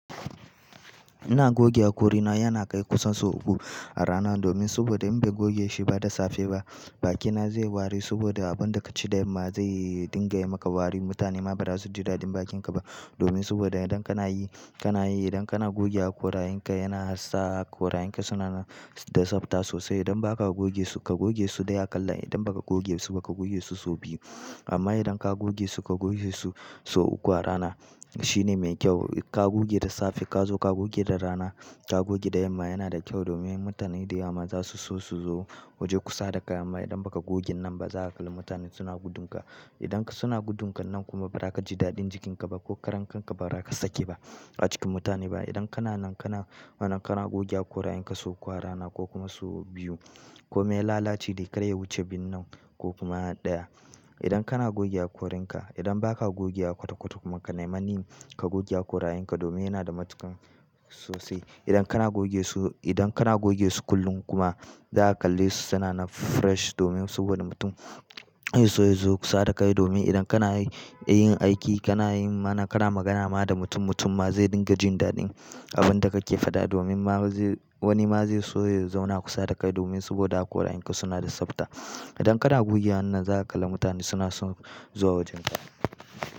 Ina goge haƙorina, yana kai kusan sau uku a rana domin saboda in bai goge shi ba da safe ba, bakina zai ware saboda abin da ka ci da yamma zai dinga yi maka wari. Mutane ma ba za su ji daɗin bakinka ba domin saboda idan kana yi, kana yi, idan kana goge haƙorayenka yana hasa haƙorayenka suna da tsabta sosai. Idan ba ka goge su, ka goge su ɗaya akallale. Idan ba ka goge su, ba ka goge su sau biyu. Amma idan ka goge su, ka goge su sau uku a rana shine mai kyau. Ka goge da safe, ka zo ka goge da rana, ka goge da yamma yana da kyau domin mutane da yamma za su so su zo waje kusa da ka. Amma idan ba ka gogen nan ba, za ka kalli mutane suna gudunka. Idan suna gudunka nan kuma ba za ka ji daɗin jikinka ba ko karen kanka ba za ka saki ba a cikin mutane ba. Idan kana nan, kana, mana kana goge haƙorayenka sau uku a rana ko kuma sau biyu ko me lalaci dai kar ya wuce binnan ko kuma ɗaya. Idan kana goge haƙorinka, idan ba ka goge haƙo ta kotu kuma ka nemi manin ka goge haƙorayenka domin yana da matuƙan sosai. Idan kana goge su, idan kana goge su kullum kuma za ka kalle su suna na fresh domin saboda mutum ya so ya zo kusa da kai. Domin idan kana yi, yin aiki kana yi ma na kana magana ma da mutum, mutum ma zai dinga jin daɗin abin da ka ke faɗa domin ma zai, wani ma zai so ya zauna kusa da kai domin saboda haƙorayenka suna da tsabta. Idan kana goge wannan za ka kalla mutane suna son zuwa wajenka.